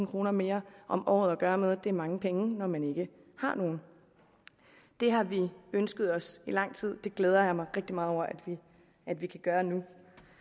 kroner mere om året at gøre noget det er mange penge når man ikke har nogen det har vi ønsket os i lang tid det glæder jeg mig rigtig meget over at vi kan gøre nu